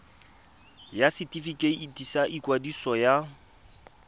ya setefikeiti sa ikwadiso ya